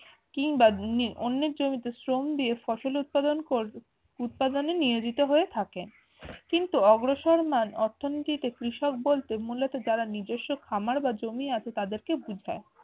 কিংবা উম অন্যের জমিতে শ্রম দিয়ে ফসল উৎপাদন কর হম উৎপাদনে নিয়োজিত হয়ে থাকে কিন্তু অগ্রসরমান অর্থনীতিতে কৃষক বলতে মূলত যারা নিজের জমি অথবা খামার আছে তাদেরকে বুঝায়।